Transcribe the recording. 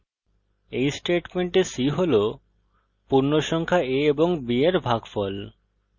এই স্টেটমেন্টে c হল পূর্ণসংখ্যা a ও b এর ভাগফল